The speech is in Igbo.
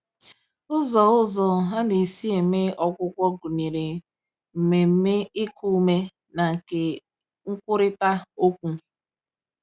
Ụzọ Ụzọ a na-esi eme ọgwụgwọ gụnyere mmemme iku ume na nke nkwurịta okwu.